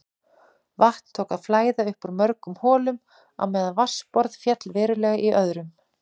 Vatn tók að flæða upp úr mörgum holum á meðan vatnsborð féll verulega í öðrum.